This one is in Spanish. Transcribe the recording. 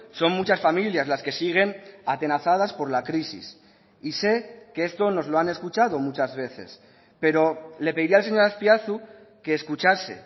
son muchas familias las que siguen atenazadas por la crisis y sé que esto nos lo han escuchado muchas veces pero le pediría al señor azpiazu que escuchase